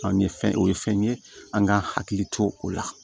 Anw ye fɛn o fɛn ye an k'an hakili to o la